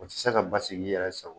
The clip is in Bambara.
O tɛ se ka basigi i yɛrɛ sago ye